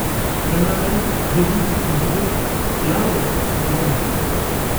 Kenare nerripi entito tialo enkikonyare